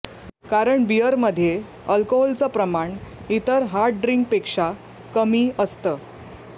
कारण बिअरमध्ये अल्कोहोलचं प्रमाण इतर हार्ड ड्रिंकपेक्षा कमी असतं